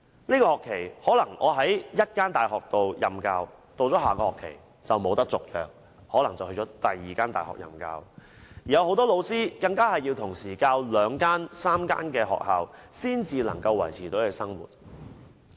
這個學期我可能在一間大學任教，到下學期便不獲續約，可能要到另一間大學任教，很多老師更同時要在兩三間學校授課才能維持生活。